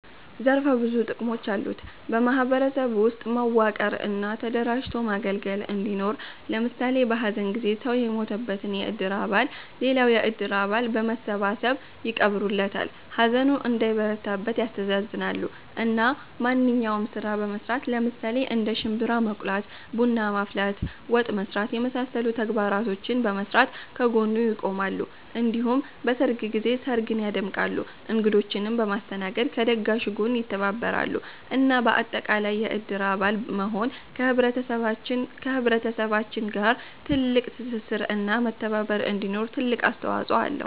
ዘርፈ ብዙ ጥቅሞች አሉት በ ማህበረሰብ ውስጥ መዋቀር እና ተደራጅቶ ማገልገል እንዲኖር ለምሳሌ በ ሀዘን ጊዜ ሰው የሞተበትን የእድር አባል ሌላው የእድር አባል በመሰባሰብ ይቀብሩለታል፣ ሀዘኑ እንዳይበረታበት ያስተሳዝናሉ፣ እና ማንኛውንም ስራ በመስራት ለምሳሌ እንደ ሽንብራ መቁላት፣ ቡና ማፍላት፣ ወጥ መስራት የመሳሰሉ ተግባራቶችን በመስራት ከ ጎኑ ይቆማሉ እንዲሁም በሰርግ ጊዜ ስርግን ያደምቃሉ እንግዶቺንም በማስተናገድ ከ ደጋሹ ጋር ይተባበራሉ እና በአጠቃላይ የእድር አባል መሆን ከ ህብረተሰባችን ጋር ትልቅ ትስስር እና መተባባር እንዲኖር ትልቅ አስተዋፅኦ አለው